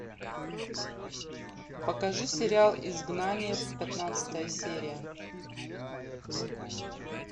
покажи сериал изгнание пятнадцатая серия